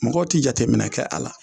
Mɔgɔ tɛ jateminɛ kɛ a la